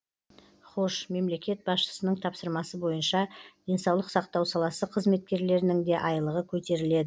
хош мемлекет басшысының тапсырмасы бойынша денсаулық сақтау саласы қызметкерлерінің де айлығы көтеріледі